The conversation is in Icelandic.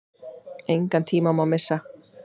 Engan tíma má missa.